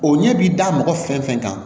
O ɲɛ bi da mɔgɔ fɛn fɛn kan